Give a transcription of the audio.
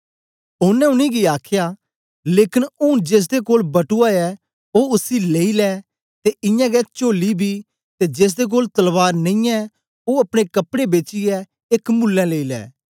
ओनें उनेंगी आखया लेकन ऊन जेसदे कोल बटुआ ऐ ओ उसी लेई लै ते इयां गै चोल्ली बी ते जेसदे कोल तलवार नेई ऐ ओ अपने कपड़े बेचियै एक मुल्लें लेई लै